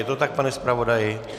Je to tak, pane zpravodaji?